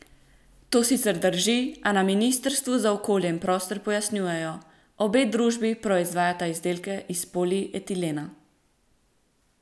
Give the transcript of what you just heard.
To sicer drži, a na ministrstvu za okolje in prostor pojasnjujejo: "Obe družbi proizvajata izdelke iz polietilena.